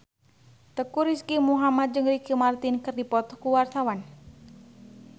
Teuku Rizky Muhammad jeung Ricky Martin keur dipoto ku wartawan